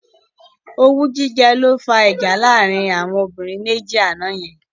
Owú jíjẹ ló fá ìjà láàrin àwọn obìnrin méjì àná yẹn.